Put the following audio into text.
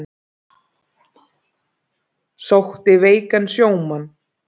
Sótti veikan sjómann